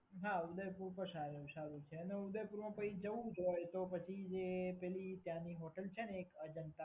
હા, ઉદયપુર તો સારું છે અને ઉદેપુરમાં જો જવું જ હોય તો પછી જે પેલી ત્યાંની હોટલ છે ને એક અજંટા